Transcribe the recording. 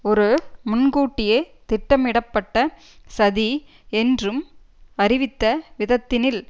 ஒரு முன்கூட்டியே திட்டமிடப்பட்ட சதி என்றும் அறிவித்த விதத்தினில்